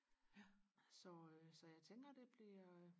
så øh så jeg tænker det bliver